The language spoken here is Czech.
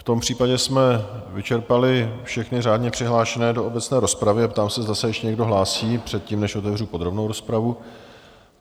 V tom případě jsme vyčerpali všechny řádně přihlášené do obecné rozpravy a ptám se, zda se ještě někdo hlásí předtím, než otevřu podrobnou rozpravu.